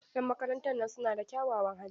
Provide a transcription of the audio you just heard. Yan makarantan nan suna da kyawawan hali.